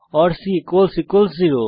C 0 নির্দেশিত কাজ